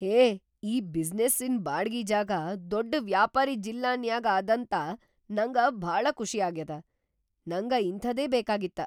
ಹೇ ಈ ಬಿಸಿನೆಸ್ಸಿನ್ ಬಾಡ್ಗಿ ಜಾಗಾ ದೊಡ್‌ ವ್ಯಾಪಾರೀ ಜಿಲ್ಲಾನ್ಯಾಗ್ ಅದಾಂತ ನಂಗ ಭಾಳ ಖುಷಿ ಆಗ್ಯಾದ. ನಂಗ ಇಂಥಾದೇ ಬೇಕಾಗಿತ್ತ.